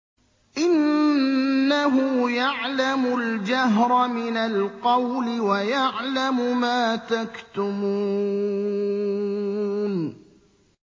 إِنَّهُ يَعْلَمُ الْجَهْرَ مِنَ الْقَوْلِ وَيَعْلَمُ مَا تَكْتُمُونَ